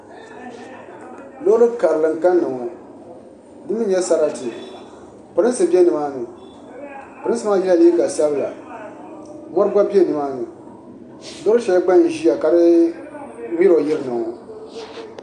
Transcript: Loori karili n kanna ŋɔ di mii nyɛ sarati pirinsi bɛ nimaani pirinsi maa yɛla liiga sabila mɔri gba bɛ nimaani loori shɛli gba n ʒiya ka di yɛlo yirina ŋɔ